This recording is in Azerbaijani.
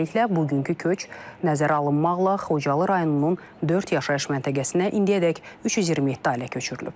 Beləliklə, bugünkü köç nəzərə alınmaqla Xocalı rayonunun dörd yaşayış məntəqəsinə indiyədək 327 ailə köçürülüb.